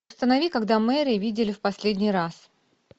установи когда мэри видели в последний раз